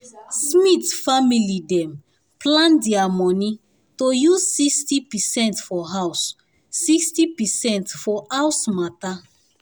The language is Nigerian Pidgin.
smith family dem plan their money to use 60 percent for house 60 percent for house matter